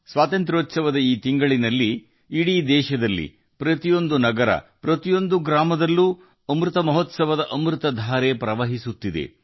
ಸ್ವಾತಂತ್ರ್ಯದ ಸಂಭ್ರಮದ ಈ ತಿಂಗಳಲ್ಲಿ ನಮ್ಮ ಇಡೀ ದೇಶದಲ್ಲಿ ಪ್ರತಿ ನಗರದಲ್ಲಿ ಪ್ರತಿ ಹಳ್ಳಿಯಲ್ಲಿ ಅಮೃತ ಮಹೋತ್ಸವದ ಅಮೃತಧಾರೆ ಹರಿಯುತ್ತಿದೆ